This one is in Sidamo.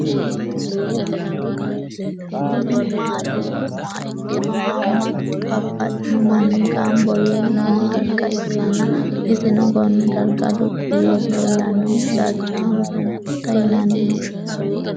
Kuni mati yinumoha ikiro hamatuna babaxino manni gambo noo darga ikana isino Kone darga lup yee leelanohu darchamo sunkurta yinaniho